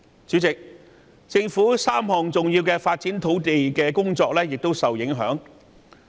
主席，政府3項重要的土地發展工作亦受到影響。